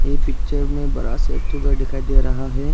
ये पिक्चर में बड़ा सा एक ठो ग दिखाई दे रहा है।